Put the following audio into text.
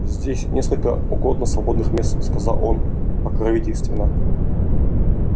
здесь несколько угодно свободных мест сказал он покровительственно